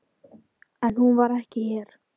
En hún var ekki hér.